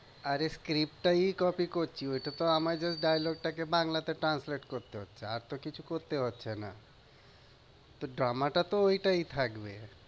আরে script টায় copy করছি, ঐটা তো আমার dialogue টাকে বাংলাতে translate করতে হচ্ছে, আর তো কিছু করতে হচ্ছে না। তো drama টা তো ঐটাই থাকবে।